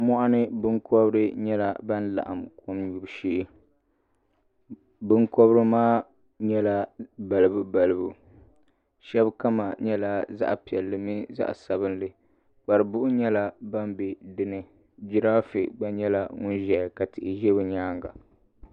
Mɔɣini binkɔbiri nyɛla bini laɣim kom yubu shee binkɔbiri maa nyɛla balibu balibu shɛba kama nyɛla zaɣi piɛlli mini zaɣi sabinli kparibuhi nyɛla bini bɛ dini girafe bga nyɛla ŋuni zɛ dini ka tihi zɛ o yɛanga.